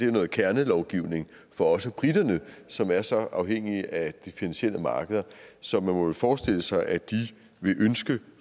er noget kernelovgivning for også briterne som er så afhængige af de finansielle markeder så man må vel forestille sig at de vil ønske